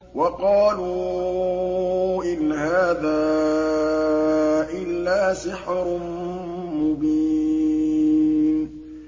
وَقَالُوا إِنْ هَٰذَا إِلَّا سِحْرٌ مُّبِينٌ